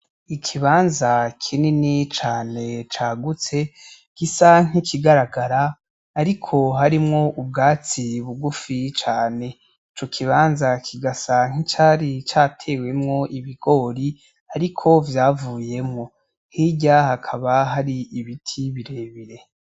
Ikibanza kinini cane cagutse gisa nk’ikigaragara ariko harimwo ubwatsi bugufi cane ico kibanza kigasa nk’icari catewemwo ibigori ariko vyavuyemwo. Hirya hakaba hari ibiti birebire.